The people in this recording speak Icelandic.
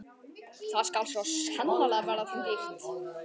Það skal svo sannarlega verða þeim dýrt!